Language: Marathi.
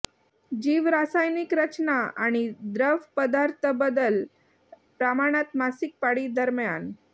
जीवरासायनिक रचना आणि द्रवपदार्थ बदल प्रमाणात मासिक पाळी दरम्यान